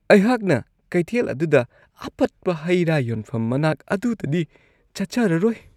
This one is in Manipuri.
ꯑꯩꯍꯥꯛꯅ ꯀꯩꯊꯦꯜ ꯑꯗꯨꯗ ꯑꯄꯠꯄ ꯍꯩ-ꯔꯥ ꯌꯣꯟꯐꯝ ꯃꯅꯥꯛ ꯑꯗꯨꯗꯗꯤ ꯆꯠꯆꯔꯔꯣꯢ꯫